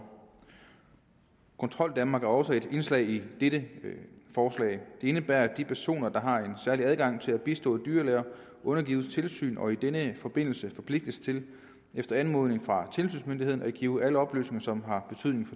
kontroldanmark er også et indslag i dette forslag det indebærer at de personer der har en særlig adgang til at bistå dyrlæger undergives tilsyn og i denne forbindelse forpligtes til efter anmodning fra tilsynsmyndighederne at give alle oplysninger som har betydning